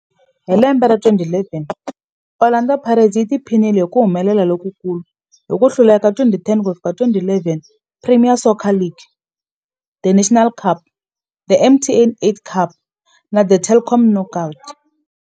Hi lembe ra 2011, Orlando Pirates yi tiphinile hi ku humelela lokukulu hi ku hlula eka 2010 ku ya fika 2011 Premier Soccer League, The Nedbank Cup, The MTN 8 Cup na The Telkom Knockout.